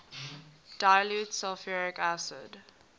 dilute sulfuric acid